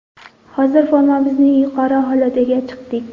Hozir formamizning yuqori holatiga chiqdik.